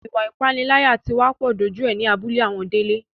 Ìwà ìpániláyà tí wá pọ̀ dójú ẹ ní abúlé àwọn Délé